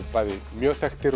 mjög þekktir